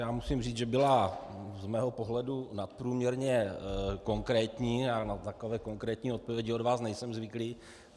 Já musím říct, že byla z mého pohledu nadprůměrně konkrétní a na takové konkrétní odpovědi od vás nejsem zvyklý.